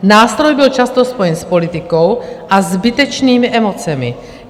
Nástroj byl často spojen s politikou a zbytečnými emocemi.